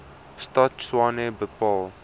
stad tshwane bepaal